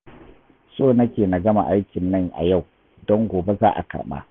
So nake na gama aikin nan a yau, don gobe za a karɓa